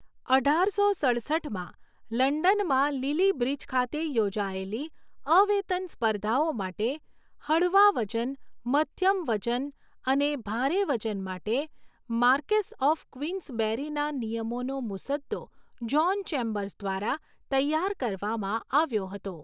અઢારસો સડસઠમાં લંડનના લિલી બ્રિજ ખાતે યોજાયેલી અવેતન સ્પર્ધાઓ માટે હળવા વજન, મધ્યમ વજન અને ભારે વજન માટે માર્કેસ્સ ઑફ ક્વીન્સબેરીના નિયમોનો મુસદ્દો જ્હોન ચેમ્બર્સ દ્વારા તૈયાર કરવામાં આવ્યો હતો.